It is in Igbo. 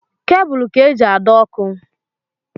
Kebụl ka-eji adọ ọkụ.